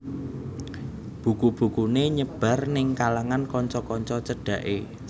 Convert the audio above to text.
Buku bukuné nyebar ning kalangan kanca kanca cedhaké